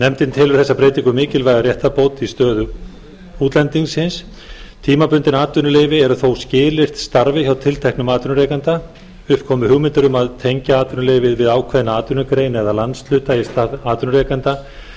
nefndin telur þessa breytingu mikilvæga réttarbót á stöðu útlendings tímabundin atvinnuleyfi eru þó skilyrt starfi hjá tilteknum atvinnurekanda upp komu hugmyndir um að tengja atvinnuleyfið við ákveðna atvinnugrein eða landshluta í stað atvinnurekenda